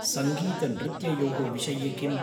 सङ्गीतनृत्ययोः विषये किम्?